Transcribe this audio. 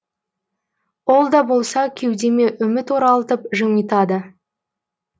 ол да болса кеудеме үміт оралтып жымитады